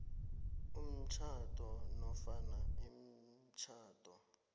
umtjhado nofana imitjhado